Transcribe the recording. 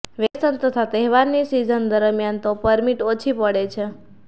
vacation તથા તહેવારની season દરમ્યાન તો પરમિટ ઓછી પડે છે